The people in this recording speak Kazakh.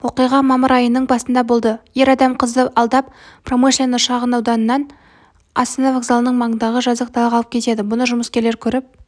оқиға мамыр айының басында болды ер адам қызды алдап промышленный шағынауданынан астана вокзалының маңындағы жазық далаға алып кетеді бұны жұмыскерлер көріп